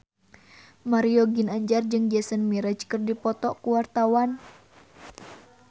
Mario Ginanjar jeung Jason Mraz keur dipoto ku wartawan